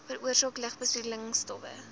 veroorsaak lugbesoedelende stowwe